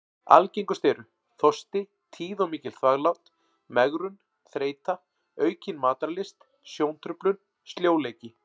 Algengust eru: þorsti, tíð og mikil þvaglát, megrun, þreyta, aukin matarlyst, sjóntruflun, sljóleiki.